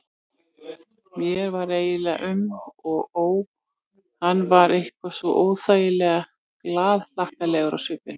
Mér var eiginlega um og ó, hann var eitthvað svo óþægilega glaðhlakkalegur á svipinn.